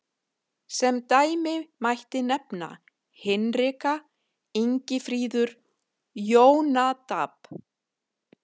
Sem dæmi mætti nefna Hinrika, Ingifríður, Jónadab.